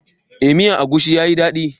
Eh, miyan agushin ya yi dadi.